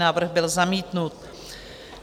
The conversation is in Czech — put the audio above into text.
Návrh byl zamítnut.